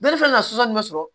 Ne fɛn ka suta ninnu sɔrɔ